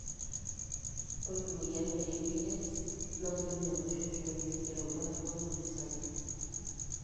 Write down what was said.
Ore emoyian e EDS na kinyial oshi olchoni, irubat o-ngonyo osarge.